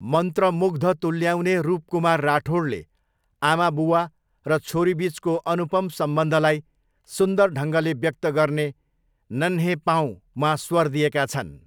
मन्त्रमुग्ध तुल्याउने रुप कुमार राठोडले आमाबुवा र छोरीबिचको अनुपम सम्बन्धलाई सुन्दर ढङ्गले व्यक्त गर्ने 'नन्हे पाँउ' मा स्वर दिएका छन्।